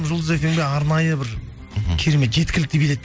жұлдыз фмге арнайы бір мхм керемет жеткілікті билет